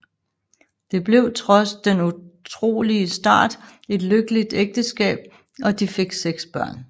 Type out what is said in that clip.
Det blev trods den utrolige start et lykkeligt ægteskab og de fik seks børn